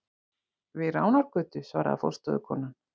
Við Ránargötu, svaraði forstöðukonan.